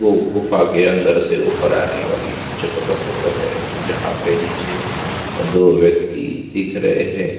जो गुफा के अंदर से ऊपर आने वाली जगह का फोटो है जहाँ पे वीच दो व्यक्ति दिख रहे है।